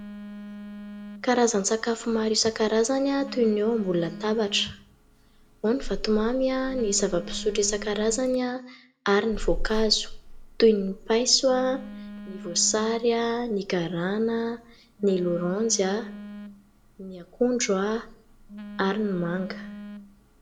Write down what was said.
Karazan-tsakafo maro isan-karazany toy ny eo ambony latabatra. Ao ny vatomamy, ny zava-pisotro isan-karazany ary ny voankazo toy ny paiso, ny voasary, ny garana, ny loranjy, ny akondro ary ny manga.